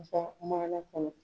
Wasa maana kɔnɔ